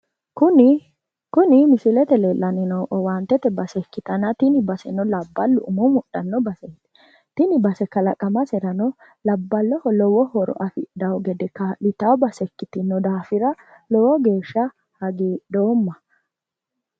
Kuni misilete leellanni noohu owaantete base ikkitanna tini baseno labballu umo mudhanno baseeti. Tini base kalaqamaserano labballoho lowo horo afidhawo gede kaa'litawo base ikkitino daafira lowo geeshsha hagiidhoomma.